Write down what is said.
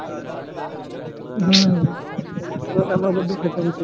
હમ કોરોનામાં બધું ખતમ થઇ ગયું છે.